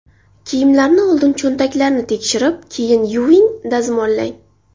Kiyimlarni oldin cho‘ntaklarini tekshirib keyin yuving, dazmollang.